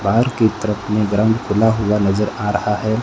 बाहर की तरफ में ग्राउंड खुला हुआ नजर आ रहा है।